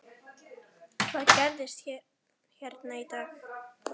Hvað gerðist hérna í dag?